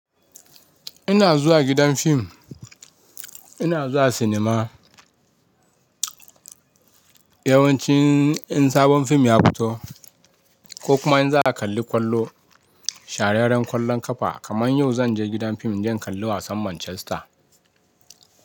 Ina zuwa gidan fim, ina zuwa sinima yawanci in sabon fim ya fito ko kuma in za kalli kwallo, shahararren kwallon kafa kaman yau zan je gidan fim don kallon wasan Manchester.